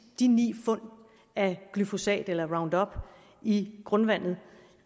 de ni fund af glyfosat eller roundup i grundvandet